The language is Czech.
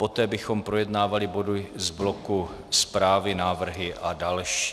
Poté bychom projednávali body z bloku zprávy, návrhy a další.